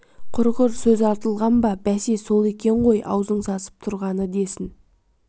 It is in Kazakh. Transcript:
құрғыр сөз артылған ба бәсе сол екен ғой аузың сасып тұрғаны десін